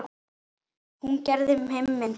Hún gerði heiminn betri.